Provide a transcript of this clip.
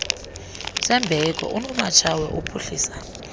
sembeko unomatshawe uphuhlisa